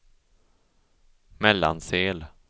Mellansel